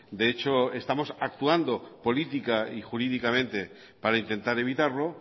de hecho estamos actuando política y jurídicamente para intentar evitarlo